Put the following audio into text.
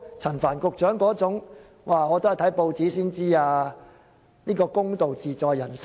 陳帆局長要看報紙才知道事件，又怎能說出"公道自在人心"？